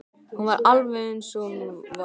Hún var alveg eins og hún var vön.